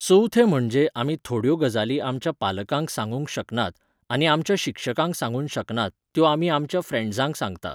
चवथें म्हणजे आमी थोड्यो गजाली आमच्या पालकांक सांगूंक शकनात आनी आमच्या शिक्षकांक सांगूक शकनात त्यो आमी आमच्या फ्रेण्डजांक सांगता